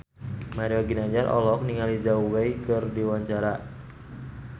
Mario Ginanjar olohok ningali Zhao Wei keur diwawancara